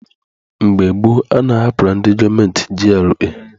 Mgbe gboo, a na-ahapụrụ ndị gọọmenti GRA.